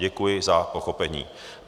Děkuji za pochopení."